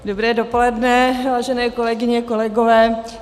Dobré dopoledne, vážené kolegyně, kolegové.